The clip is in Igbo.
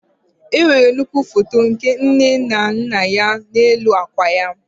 Enwere nnukwu foto nke nne na nna ya n'elu akwa ya.